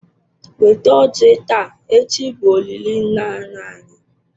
Weta ọjị taa echi bụ olili nna nna anyi.